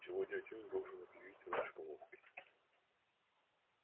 сегодня отец должен объявить о нашей помолвке